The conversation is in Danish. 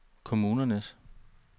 kommunernes